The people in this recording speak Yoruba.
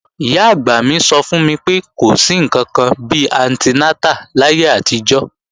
Ìyá-àgbà mi sọ fún mi pé, kò sí ǹkankan bi antinátà láyé àtijọ́